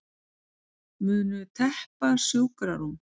Munu teppa sjúkrarúm